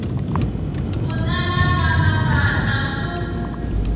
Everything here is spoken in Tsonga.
ku tala ka mavandla ku